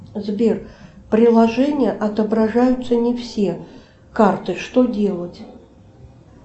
сбер приложения отображаются не все карты что делать